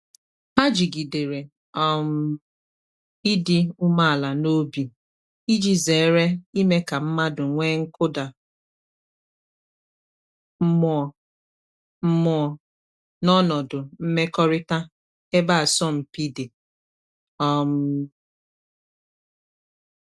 Ha jigidere um ịdị umeala n’obi iji zere ime ka mmadụ nwee nkụda mmụọ mmụọ n’ọnọdụ mmekọrịta ebe asọmpi dị. um